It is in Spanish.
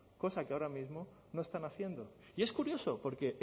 cosa que ahora mismo no están haciendo y es curioso porque